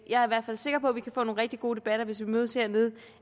jeg er i hvert fald sikker på at vi kan få nogle rigtig gode debatter hvis vi mødes hernede